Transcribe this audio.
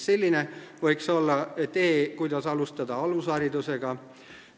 Selline võiks olla tee, kuidas alustada alusharidusega.